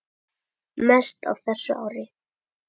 Mest á þessu ári.